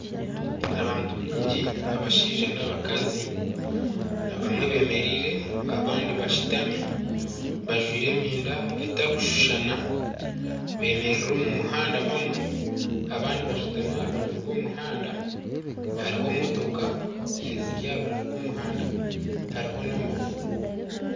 Abantu baingi abashaija n'abakazi, abamwe beemereire abandi bashutami, bajwaire emyenda atarikushushana, beemereire omu muhanda bamwe abandi bashutami aha rubaju rw'omuhanda hariho motoka eziri aha rubaju rw'omuhanda hariho n'amaju